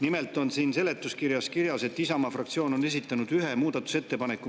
Nimelt on siin seletuskirjas kirjas, et Isamaa fraktsioon on esitanud ühe muudatusettepaneku.